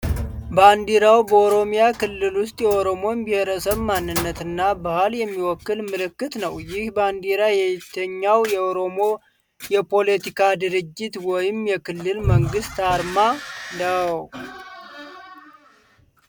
ባንዲራው በኦሮሚያ ክልል ውስጥ የኦሮሞን ብሔር ማንነት እና ባህል የሚወክል ምልክት ነው። ይህ ባንዲራ የየትኛው የኦሮሞ የፖለቲካ ድርጅት ወይም የክልል መንግሥት አርማ ነው?